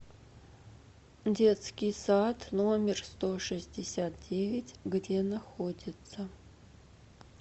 детский сад номер сто шестьдесят девять где находится